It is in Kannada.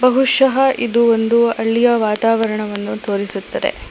ಬಹುಷಃ ಇದು ಒಂದು ಹಳ್ಳಿಯ ವಾತವರಣವನ್ನು ತೋರಿಸುತ್ತದೆ.